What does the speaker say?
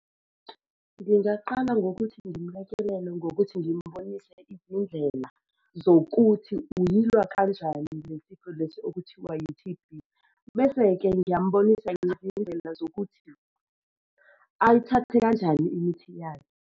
Ngingaqala ngokuthi ngimlekelele ngokuthi ngimbonise izindlela zokuthi uyilwa kanjani lesi sifo lesi okuthiwa yi-T_B. Bese-ke ngiyambonisa izindlela zokuthi ayithathe kanjani imithi yayo.